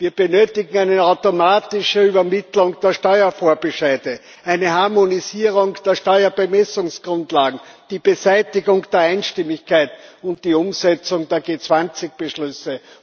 Wir benötigen eine automatische Übermittlung der Steuervorbescheide, eine Harmonisierung der Steuerbemessungsgrundlagen, die Beseitigung der Einstimmigkeit und die Umsetzung der G20 Beschlüsse.